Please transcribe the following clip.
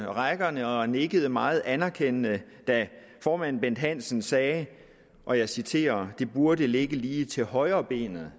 rækkerne og nikkede meget anerkendende da formanden bent hansen sagde og jeg citerer at det burde ligge lige til højrebenet